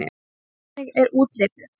Hvernig er útlitið?